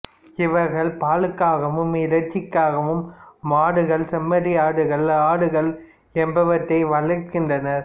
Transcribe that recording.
இவர்கள் பாலுக்காகவும் இறைச்சிக்காகவும் மாடுகள் செம்மறியாடுகள் ஆடுகள் என்பவற்றை வளர்க்கின்றனர்